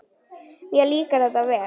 Mér líkar þetta vel.